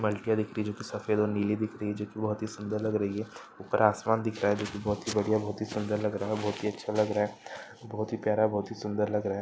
बलटियाँ दिख रही हैं जो कि सफेद और नीली दिख रही है जो कि बहोत ही सुंदर लग रही है। ऊपर आसमान दिख रहा है जो कि बहोत ही बढ़िया बहोत ही सुंदर लग रहा है बहोत ही अच्छा लग रहा है बहोत ही प्यारा बहोत ही सुंदर लग रहा है।